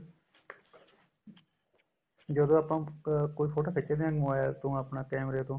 ਜਦੋਂ ਆਪਾਂ ਕੋਈ ਫੋਟੋ ਖੱਚਦੇ ਹਾਂ mobile ਤੋਂ ਆਪਣਾ ਕੇਮਰੇ ਤੋਂ